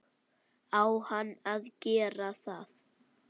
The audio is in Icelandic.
Á hann að gera það?